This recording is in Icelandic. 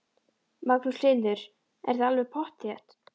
Magnús Hlynur: Er það alveg pottþétt?